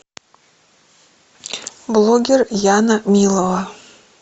блогер яна милова